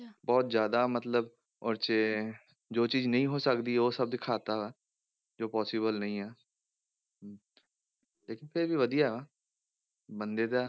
ਬਹੁਤ ਜ਼ਿਆਦਾ ਮਤਲਬ ਉਹ 'ਚ ਜੋ ਚੀਜ਼ ਨਹੀਂ ਹੋ ਸਕਦੀ, ਉਹ ਸਭ ਦਿਖਾ ਦਿੱਤਾ, ਜੋ possible ਨਹੀਂ ਆ ਹਮ ਲੇਕਿੰਨ ਫਿਰ ਵੀ ਵਧੀਆ ਵਾ ਬੰਦੇ ਦਾ,